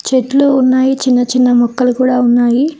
పెట్లు ఉన్నాయి చిన్న చిన్న మొక్కలు కూడా ఉన్నాయి.